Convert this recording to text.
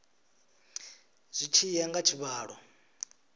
zwi tshi ya nga tshivhalo